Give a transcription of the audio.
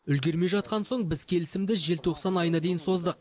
үлгермей жатқан соң біз келісімді желтоқсан айына дейін создық